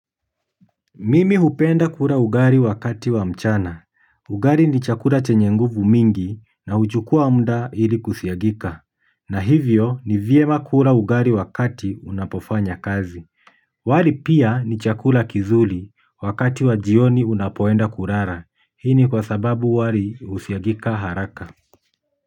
Mimi hupenda kula ugali wakati wa mchana. Ugali ni chakula chenye nguvu mingi na huchukuwa muda ili kusiagika. Na hivyo ni vyema kula ugali wakati unapofanya kazi. Wali pia ni chakula kizuri wakati wa jioni unapoenda kulala. Hii ni kwa sababu wali husiagika haraka.